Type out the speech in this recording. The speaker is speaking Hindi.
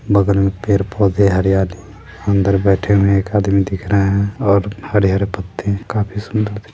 बगल में पेड़ पोधे हरियाली अंदर बैठे हुआ एक आदमी दिख रहे है बहुत हरे हरे पत्ते है काफी सुंदर है।